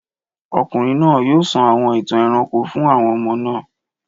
Ọkùnrin náà yóò sọ àwọn ìtàn ẹranko fún àwọn ọmọ náà.